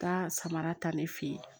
Taa samara ta ne fɛ yen